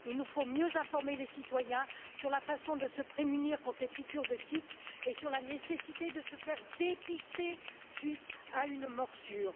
Il nous faut mieux informer les citoyens sur la façon de se prémunir contre les piqûres de tiques et sur la nécessité de se faire dépister après une morsure.